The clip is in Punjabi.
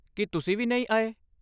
ਕੀ ਤੁਸੀਂ ਵੀ ਨਹੀਂ ਆਏ?